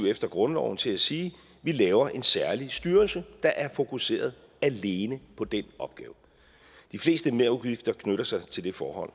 efter grundloven til at sige vi laver en særlig styrelse der er fokuseret alene på den opgave de fleste merudgifter knytter sig til det forhold